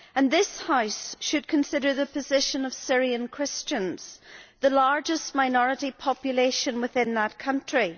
This House should consider the position of Syrian Christians, the largest minority population within that country.